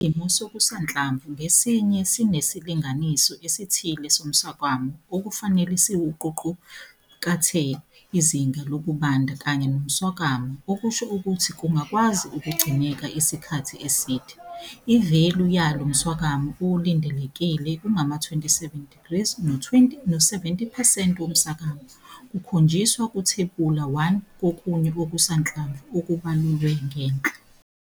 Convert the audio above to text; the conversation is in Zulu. Sokusanhlamvu ngasinye sinesilinganiso esithile somswakama okufanele siwuwuqukathe izinga lokubanda kanye nomswakama okusho ukuthi kungakwazi ukugcineka isikhathi eside. Ivelu yalo mswakama olindelekile ungama-27degrees no70 percent woswakama kuzokhonjiswa kuThebula 1 kokunye okusanhlamvu okubalulwe ngenhla.